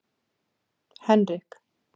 Henrik